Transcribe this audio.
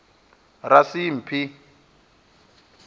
rasimphi